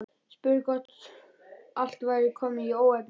Spurði svo hvort allt væri komið í óefni.